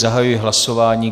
Zahajuji hlasování.